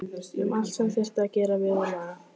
Um allt sem þyrfti að gera við og laga.